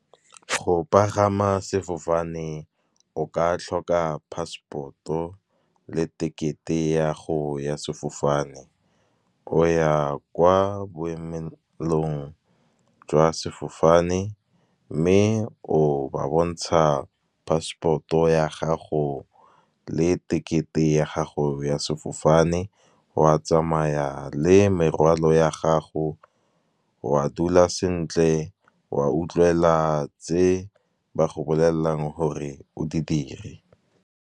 Go pagama sefofane o ka tlhoka passport-o le tekete ya go ya sefofane. O ya kwa boemelong jwa sefofane, mme o ba bontsha passport-o ya gago le tekete ya gago ya sefofane. O a tsamaya le morwalo ya gago o a dula sentle, o a utlwela tse ba go bolellang gore o di dire.